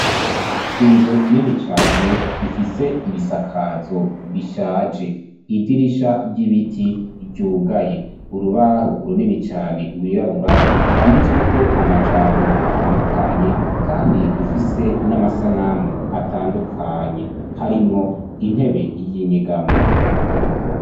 Inzu nini cane ifise ibisakazo bishaje idirisha ry'ibiti ryugaye urubaho runini cane gwirabura gwanditsweko amajambo atandukanye kandi rufise n'amasanamu atandukanye harimwo intebe y'inyegamo.